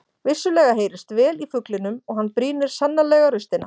Vissulega heyrist vel í fuglinum og hann brýnir sannarlega raustina.